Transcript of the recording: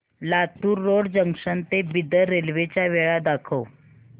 Latur road junction ते Bidar railway च्या वेळा दाखव